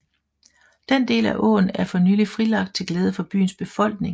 Den del af åen er for nylig frilagt til glæde for byens befolkning